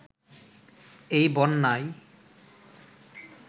এই বন্যায়